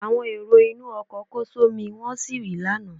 Àwọn èrò inú ọkọ̀ kó só mí wọ́n sì rì lánàá.